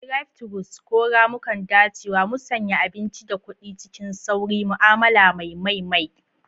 Drive-thrus, ko ramukan dacewa, musanya abinci da kuɗi cikin sauri, ma'amala mai mai mai.